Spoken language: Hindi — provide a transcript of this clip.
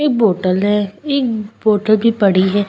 एक बोटल है एक बोटल भी पड़ी है।